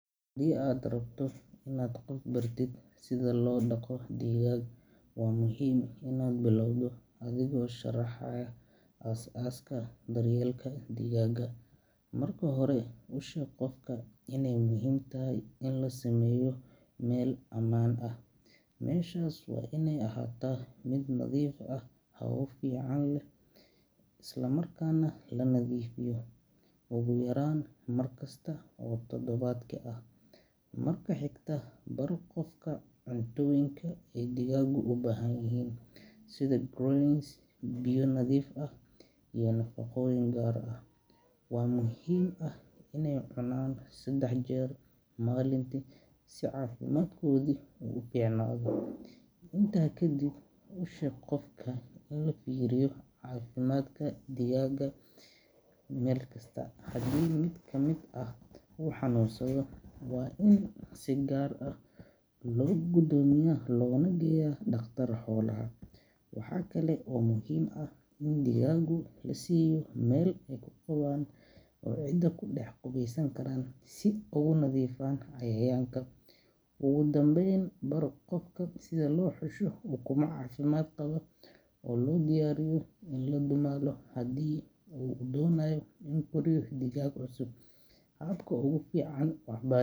Haddii aad rabto inaad qof bartid sida loo dhaqo digaag, waa muhiim inaad bilowdo adigoo sharaxaya aasaaska daryeelka digaagga. Marka hore, u sheeg qofka iney muhiim tahay in la sameeyo meel ammaan ah oo digaaggu ku noolaadaan, sida chicken coop, taasoo ka ilaalinaysa cimilada xun iyo ugaadha. Meeshaas waa iney ahaataa mid nadiif ah, hawo fiican leh, isla markaana la nadiifiyo ugu yaraan mar kasta oo toddobaadkii ah. Marka xigta, bar qofka cuntooyinka ay digaaggu u baahan yihiin, sida grains, biyo nadiif ah, iyo nafaqooyin gaar ah. Waxaa muhiim ah iney cunaan saddex jeer maalintii si caafimaadkoodu u fiicnaado. Intaa kadib, u sheeg qofka in la fiiriyo caafimaadka digaagga maalin kasta – haddii mid ka mid ah uu xanuunsado, waa in si gaar ah loo go'doomiyaa loona geeyo dhakhtar xoolaha. Waxa kale oo muhiim ah in digaagga la siiyo meel ay ku qubaan oo ciidda ku dhex qubeysan karaan si ay uga nadiifaan cayayaanka. Ugu dambayn, bar qofka sida loo xusho ukumo caafimaad qaba oo loo diyaariyo in la dumaalo haddii uu doonayo in uu koriyo digaag cusub. Habka ugu fiican ee waxbar.